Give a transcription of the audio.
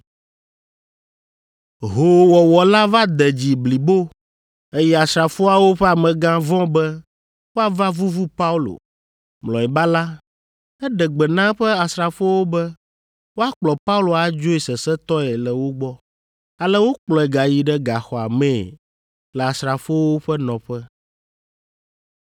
Hoowɔwɔ la va de dzi blibo, eye asrafoawo ƒe amegã vɔ̃ be woava vuvu Paulo. Mlɔeba la, eɖe gbe na eƒe asrafowo be woakplɔ Paulo adzoe sesẽtɔe le wo gbɔ, ale wokplɔe gayi ɖe gaxɔa mee le asrafowo ƒe nɔƒe.